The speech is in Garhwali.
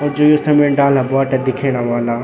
अर जू ये समणी डाला बोटा दिखेणा वाला।